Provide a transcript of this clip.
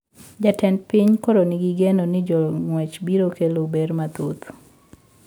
Jatend piny koro ni gi geno ni jongwech biro kelo ber mathoth